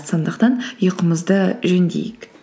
сондықтан ұйқымызды жөндейік